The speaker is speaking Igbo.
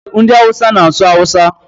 Ndị Hausa na-asụ Awusa